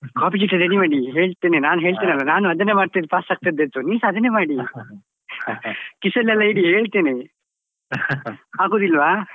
Copy ಚೀಟಿ ready ಮಾಡಿ ಹೇಳ್ತೇನೆ ನಾನ್ ಹೇಳ್ತೇನಲ್ಲ ನಾನು ಅದನ್ನೇ ಮಾಡ್ತಿದ್ದು pass ಆಗ್ತಿದದ್ದು ನೀವ್ಸ ಅದನ್ನೇ ಮಾಡಿ ಕಿಸೆ ಅಲ್ಲೆಲ್ಲ ಇಡಿ ಹೇಳ್ತೇನೆ ಆಗುದಿಲ್ವ.